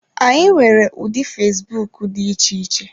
Anyị nwere ụdị fesbụụk dị iche iche.